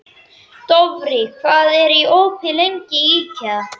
Dofri, hvað er opið lengi í IKEA?